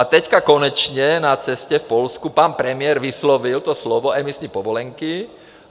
A teď konečně na cestě v Polsku pan premiér vyslovil to slovo emisní povolenky.